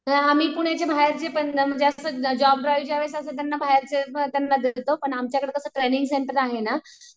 अ आम्ही पुण्याच्या बाहेरचे पण जॉब ज्यावेळेस त्यांच्या बाहेरचे त्यांना देतो पण आमच्याकडं कसं ट्रेनिंग सेंटर आहे ना.